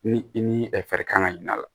Ni i ni ɛ fari kan ka ɲin'a la